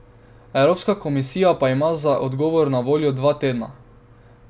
Evropska komisija pa ima za odgovor na voljo dva tedna.